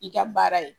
I ka baara ye